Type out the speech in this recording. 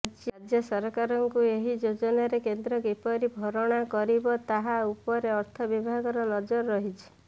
ରାଜ୍ୟ ସରକାରଙ୍କୁ ଏହି ଯୋଜନାରେ କେନ୍ଦ୍ର କିପରି ଭରଣା କରିବ ତାହା ଉପରେ ଅର୍ଥ ବିଭାଗର ନଜର ରହିଛି